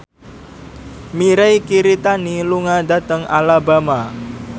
Mirei Kiritani lunga dhateng Alabama